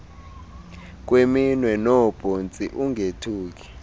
kweminwe noobhontsi ungothuki